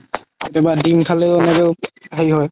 কেতিয়াবা ডিম খালেও এনেকে হেৰি হয়